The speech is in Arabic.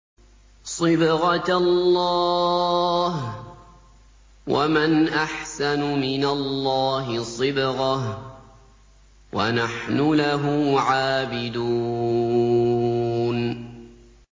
صِبْغَةَ اللَّهِ ۖ وَمَنْ أَحْسَنُ مِنَ اللَّهِ صِبْغَةً ۖ وَنَحْنُ لَهُ عَابِدُونَ